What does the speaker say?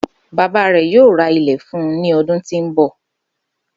Baba rẹ yoo ra ilẹ fun u ni ọdun ti n bọ.